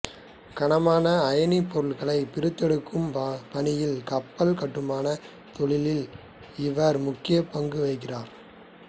கனமான அயனிப் பொருள்களைப் பிரித்தெடுக்கும் பணியில் கப்பல் கட்டுமானத் தொழிலில் இவர் முக்கியப் பங்கு வகித்தார்